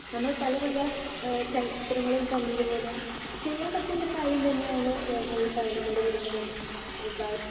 speaker 2 നമ്മൾ പല പല എഹ് ചലച്ചിത്രങ്ങളിൽ കണ്ടതുപോലെ ചെയ്യാൻ പറ്റുന്ന കാര്യം തന്നെ ആണ് നമ്മൾടെ വീടിൻ്റെ മുകൾ ഭാഗം